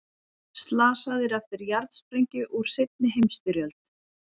Slasaðir eftir jarðsprengju úr seinni heimsstyrjöld